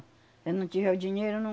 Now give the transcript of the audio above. Se não tiver dinheiro, não...